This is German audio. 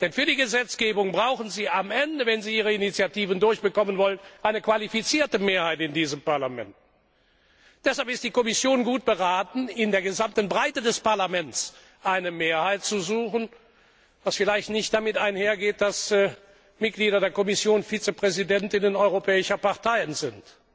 Denn für die Gesetzgebung brauchen sie am Ende, wenn sie ihre Initiativen durchbekommen wollen, eine qualifizierte Mehrheit in diesem Parlament. Deshalb ist die Kommission gut beraten, in der gesamten Breite des Parlaments eine Mehrheit zu suchen, was vielleicht nicht damit einhergeht, dass Mitglieder der Kommission stellvertretende Vorsitzende europäischer Parteien sind